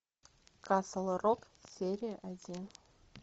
касл рок серия один